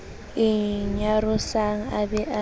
e nyarosang a be a